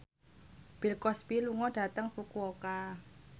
Bill Cosby lunga dhateng Fukuoka